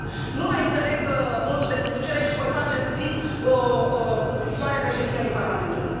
Nu mai înțeleg modul de conducere și voi face în scris o scrisoare Președintelui Parlamentului.